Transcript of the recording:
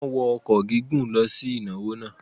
Wọ́n wọ ọkọ̀ gígùn lọ sí ìnáwó náà.